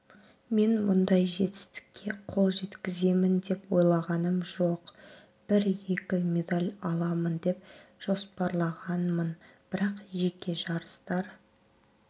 мен мұндай жетістікке қол жеткіземін деп ойлағаным жоқ бір-екі медаль аламын деп жоспарлағанмын бірақ жеке жарыстар